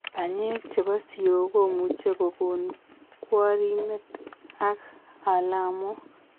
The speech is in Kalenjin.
Banyek chebo siok komuche kogon kworimet ak alamok